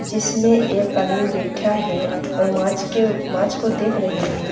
जिसमे एक आदमी बेठा है और माछ के माछ को देख रही है।